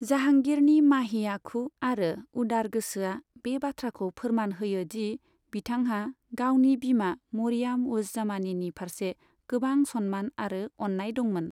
जाहांगिरनि माहि आखु आरो उदार गोसोआ बे बाथ्राखौ फोरमान होयो दि बिथांहा गावनि बिमा मरियाम उज जमानिनि फारसे गोबां सन्मान आरो अन्नाय दंमोन।